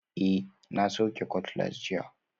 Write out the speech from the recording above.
Eh, na sauke cutlass jiya